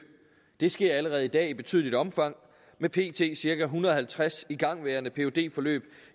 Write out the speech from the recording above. det sker allerede i dag i betydeligt omfang med pt cirka en hundrede og halvtreds igangværende phd forløb